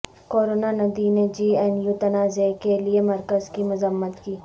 کروناندھی نے J N U تنازعہ کے لئے مرکز کی مذمت کی